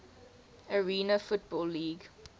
arena football league